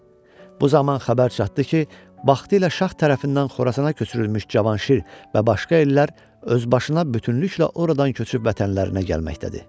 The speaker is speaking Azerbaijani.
Bu zaman xəbər çatdı ki, vaxtilə şah tərəfindən Xorasana köçürülmüş Cavanşir və başqa ellər öz başına bütünlüklə oradan köçüb vətənlərinə gəlməkdədir.